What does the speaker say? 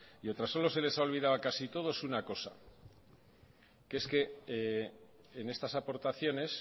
y otras solo se les ha olvidado a casi todos una cosa que es que en estas aportaciones